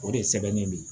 O de ye sɛbɛnnen don